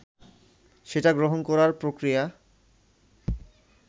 সেটা গ্রহণ করার প্রক্রিয়া